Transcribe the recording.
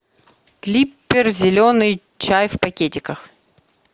клиппер зеленый чай в пакетиках